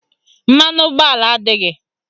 Mmanụ ụgbọala adịghị